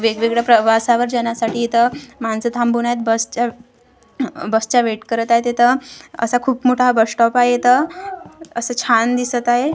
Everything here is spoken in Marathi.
वेगवेगळ्या प्रवासावर जाण्यासाठी इथं माणसं थांबवण्यात बस च्या बस चा वेट करत आहेत इथं असा खूप मोठा बस स्टॉप आहे इथं असं छान दिसत आहे.